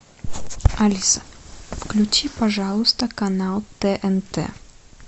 алиса включи пожалуйста канал тнт